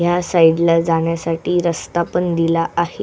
ह्या साइडला जाण्यासाठी रस्ता पण दिला आहे.